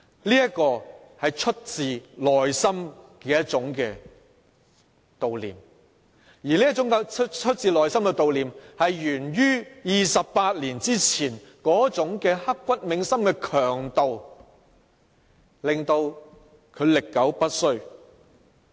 這是發自內心的一種悼念，而這種發自內心的悼念是源於28年前刻骨銘心的強度，因而令它歷久不衰。